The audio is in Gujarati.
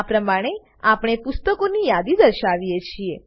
આ પ્રમાણે આપણે પુસ્તકોની યાદી દર્શાવીએ છીએ